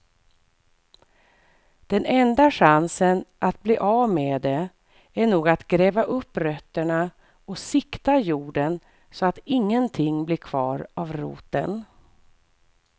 Den enda chansen att bli av med det är nog att gräva upp rötterna och sikta jorden så att ingenting blir kvar av roten.